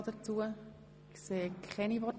– Ich sehe keine Wortbegehren.